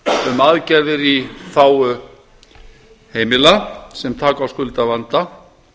um aðgerðir í þágu heimila sem taka á skuldavanda